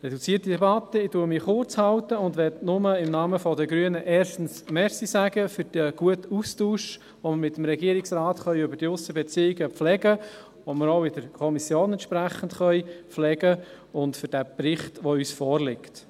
Reduzierte Debatte: Ich halte mich kurz und möchte im Namen der Grünen erstens Danke sagen für den guten Austausch, den wir mit dem Regierungsrat betreffend die Aussenbeziehungen pflegen können, den wir auch in der Kommission entsprechend pflegen können, sowie für den Bericht, der uns vorliegt.